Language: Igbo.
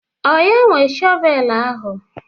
Ọ ya nwe shọvelu ahụ?